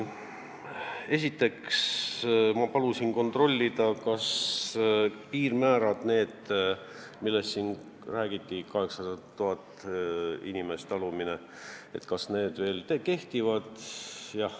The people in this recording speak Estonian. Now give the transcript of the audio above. Esiteks ma palusin kontrollida, kas piirmäär, millest siin räägiti, see 800 000 elanikku, veel kehtib.